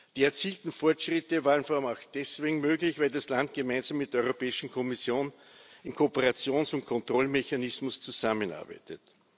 Die erzielten Fortschritte waren vor allem auch deswegen möglich, weil das Land gemeinsam mit der Europäischen Kommission im Kooperations und Kontrollmechanismus zusammenarbeitet.